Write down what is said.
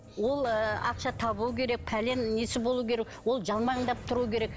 ол ы ақша табу керек пәлен несі болуы керек ол жалмаңдап тұруы керек